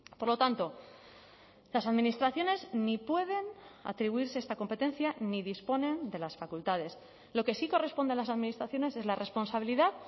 por lo tanto las administraciones ni pueden atribuirse esta competencia ni disponen de las facultades lo que sí corresponde a las administraciones es la responsabilidad